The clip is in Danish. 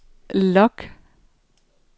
log